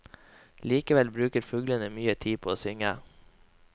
Likevel bruker fuglene mye tid på å synge.